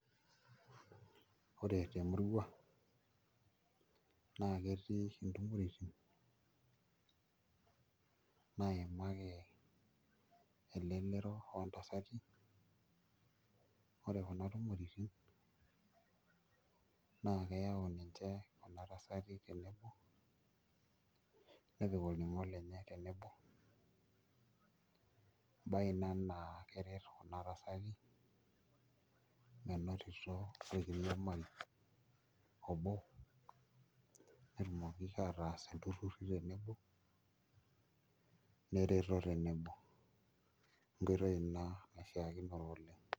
Ore temurua naa ketii oshi intumoritin naimaki elelero o ntasati ore kuna tumoritin naa keyau ninche kuna tasati tenebo nepik olning'o lenye tenebo embaye ina naa keret kuna tasati menotito enkiriamari obo, netumoki ataas ilturruri tenebo nereto tenebo, enkoitoi ina naishiakino oleng'.